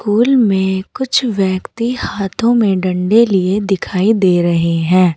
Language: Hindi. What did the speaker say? उलमें कुछ व्यक्ति हाथों में डंडे लिए दिखाई दे रहे हैं।